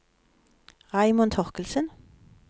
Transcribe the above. Raymond Torkildsen